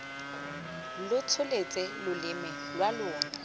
lo tsholetse loleme lwa lona